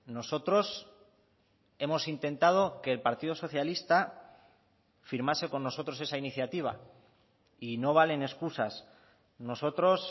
nosotros hemos intentado que el partido socialista firmase con nosotros esa iniciativa y no valen excusas nosotros